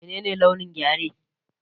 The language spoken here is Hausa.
Menene launin Gyare?